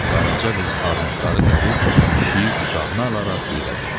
Qaraca qız armudları dərib pişiyi qucağına alaraq yerə düşdü.